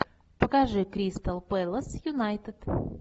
покажи кристал пэлас юнайтед